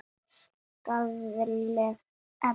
Skaðleg efni.